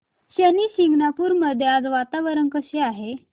शनी शिंगणापूर मध्ये आज वातावरण कसे आहे